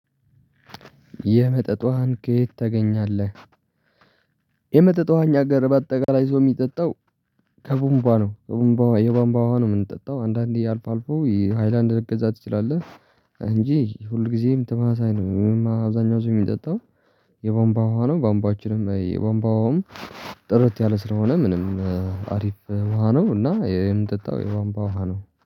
የመጠጥ ዉሀንን ከየት ታገኛለህ? የመጠጥ ዉሃ እኛ አገር በአጠቃላይ ሰው የሚጠጣው። ከቦምባ ነው ከቦምባ የቧምቧ ውሃ ነው የምንጠጣው አንዳንዴ አልፎ አልፎ የሃይላንድ ልትገዛ ትችላለህ። እንጂ ሁልጊዜም ተመሳሳይ ነው። አብዛኛው ሰው የሚጠጣው የቧምቧ ውሃ ነው። ቧምቧችንም የቧንቧ ውሀውም ጥርት ያለ ስለሆነ ምንም አሪፍ ውሃ ነው። እና የምንጠጣው የቧንቧ ውሃ ነው